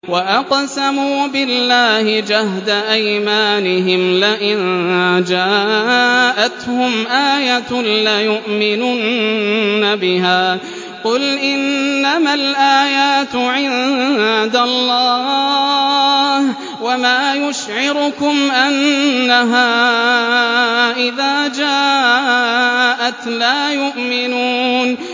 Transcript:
وَأَقْسَمُوا بِاللَّهِ جَهْدَ أَيْمَانِهِمْ لَئِن جَاءَتْهُمْ آيَةٌ لَّيُؤْمِنُنَّ بِهَا ۚ قُلْ إِنَّمَا الْآيَاتُ عِندَ اللَّهِ ۖ وَمَا يُشْعِرُكُمْ أَنَّهَا إِذَا جَاءَتْ لَا يُؤْمِنُونَ